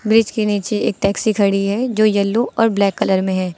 Bridge के नीचे एक टैक्सी खड़ी है जो येलो और ब्लैक कलर में है।